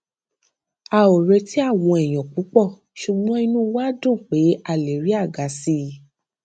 a ò retí àwọn èèyàn púpọ ṣùgbọn inú wa dùn pé a lè rí àga sí i